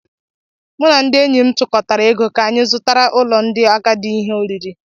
Mụ na ndị enyị m tukọtara ego k'anya zụtara ulo ndị agadi ihe oriri